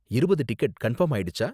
இருபது ticket confirm ஆயிடுச்சா?